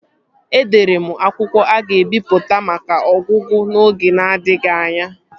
Edere m akwụkwọ a ga-ebipụta maka ọgụgụ n'oge na-adịghị anya